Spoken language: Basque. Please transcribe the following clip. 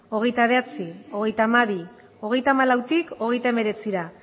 hogeita bederatzi hogeita hamabi hogeita hamalautik hogeita hemeretzira